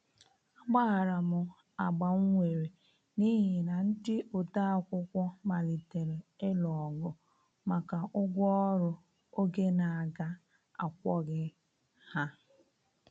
A gbaharam agbam nwere n'ihi na ndi odeakwụkwọ malitere ilụ ogụ maka ụgwọ ọrụ oge n'aga akwoghi ha.